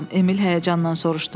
Emil həyəcanla soruşdu.